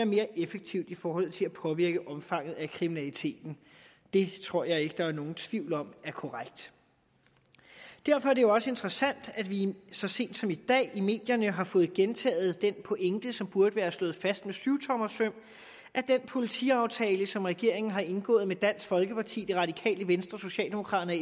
mere effektiv i forhold til at påvirke omfanget af kriminaliteten det tror jeg ikke at der er nogen tvivl om er korrekt derfor er det jo også interessant at vi så sent som i dag i medierne har fået gentaget den pointe som burde være slået fast med syvtommersøm at den politiaftale som regeringen har indgået med dansk folkeparti det radikale venstre socialdemokraterne